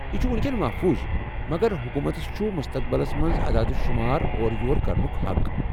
یہِ چُھ وُنٛکیٮ۪ن محفوظ ، مگر حکوٗمتس چُھ مستقبلس منٛز عداد شُمار اورٕ یور كرنُك حق ۔